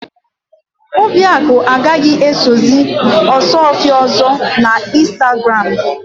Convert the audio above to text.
Obiakụ agaghì esozi Ọsụọfịa ọ̀zọ́ n'Ịnstagram.